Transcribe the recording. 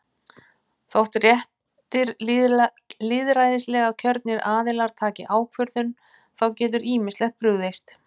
Þótt réttir lýðræðislega kjörnir aðilar taki ákvörðun, þá getur ýmislegt brugðist.